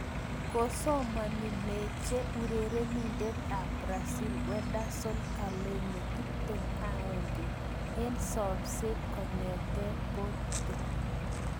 Kosomani meche urerenindet ab Brazil Wenderson Galeno, 21, eng somset kongete Porto.